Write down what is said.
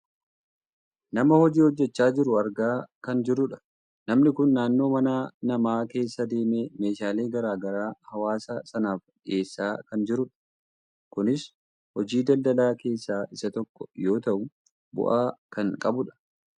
nama hojii hojjachaa jiru argaa kan jirrudha. namni kun naannoo mana namaa keessa deemee meeshaalee gara garaa hawaasa sanaaf dhiyeessaa kan jirudha. kunis hojii daldaalaa keessaa isa tokko yoo ta'u bu'aa kan qabudha.